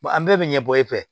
an bɛɛ bɛ ɲɛ bɔ e fɛ